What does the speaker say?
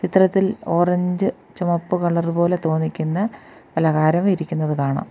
ചിത്രത്തിൽ ഓറഞ്ച് ചുമപ്പ് കളർ പോലെ തോന്നിക്കുന്ന പലഹാരം ഇരിക്കുന്നത് കാണാം.